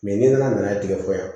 ni nana n'a ye tigɛ fɔ yan